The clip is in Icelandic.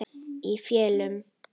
Í felum.